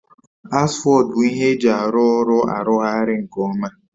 Asfọltụ bụ ihe eji arụ ọrụ arụgharị nke ọma